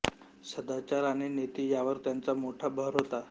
सदाचार आणि नीती यावर त्यांचा मोठा भर होता